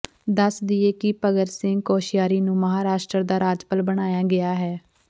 ਦੱਸ ਦੇਈਏ ਕਿ ਭਗਤ ਸਿੰਘ ਕੋਸ਼ਿਆਰੀ ਨੂੰ ਮਹਾਰਾਸ਼ਟਰ ਦਾ ਰਾਜਪਾਲ ਬਣਾਇਆ ਗਿਆ ਹੈ